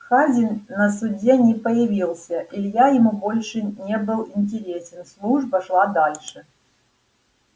хазин на суде не появился илья ему больше не был интересен служба шла дальше